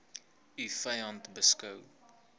u vyand beskou